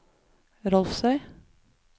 Rolvsøy